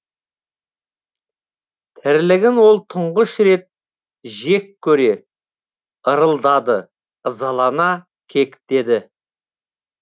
тірлігін ол тұңғыш рет жек көре ырылдады ызалана кектеді